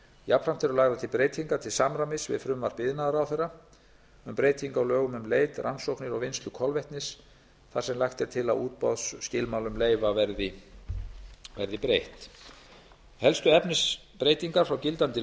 jafnframt eru lagðar til breytingar til samræmis við frumvarp iðnaðarráðherra um breytingu á lögum um leit rannsóknir og vinnslu kolvetnis þar sem lagt er til að útboðsskilmálum leyfa verði breytt helstu efnisbreytingar frá gildandi